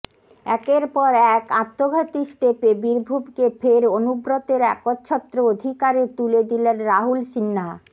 একের পর এক আত্মঘাতী স্টেপে বীরভূমকে ফের অনুব্রতের একচ্ছত্র অধিকারে তুলে দিলেন রাহুল সিনহা